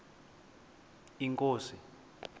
inkosi